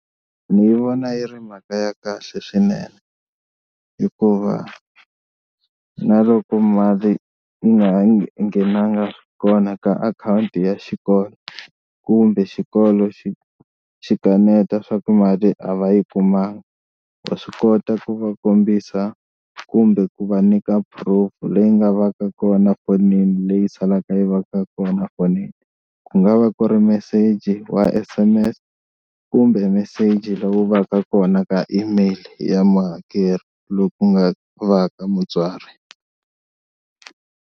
Ni yi vona yi ri mhaka ya kahle swinene hikuva na loko mali yi nga ha nghenanga kona ka akhawunti ya xikolo kumbe xikolo xi xi kaneta swa ku mali a va yi kumanga, wa swi kota ku va kombisa kumbe ku va nyika proof leyi nga va ka kona fonini leyi salaka yi va ka kona fonini ku nga va ku ri meseji wa S_M_S kumbe meseji lowu va ka kona ka email ya muhakeri loyi ku nga va ka mutswari.